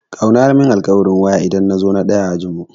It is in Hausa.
Kawuna ya mun alkawarin waya idan na zo na ɗaya a makaranta.